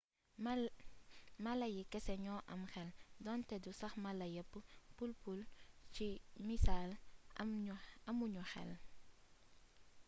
mala yi kese ñoo am xel donte du sax mala yépp; pul-pul ci missal amu ñu xel